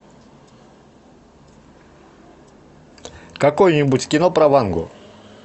какое нибудь кино про вангу